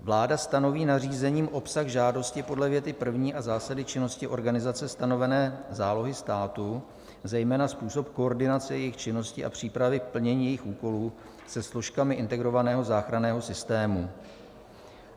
Vláda stanoví nařízením obsah žádosti podle věty první a zásady činnosti organizace stanovené zálohy státu, zejména způsob koordinace jejich činnosti a přípravy plnění jejich úkolů se složkami integrovaného záchranného systému.